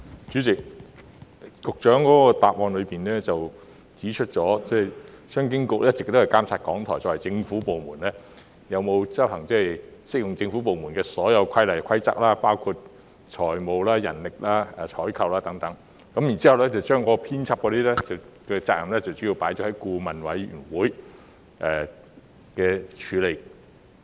主席，局長在主體答覆中指出，商經局一直監察港台作為政府部門，有否遵行適用於政府部門的所有規例和規則，包括有關財務管制、人力資源管理、採購等事宜的規則，至於編輯責任則主要交由顧委會處理。